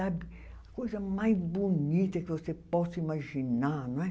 Sabe. Coisa mais bonita que você possa imaginar, não é?